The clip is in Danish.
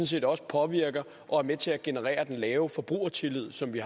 set også påvirker og er med til at generere den lave forbrugertillid som vi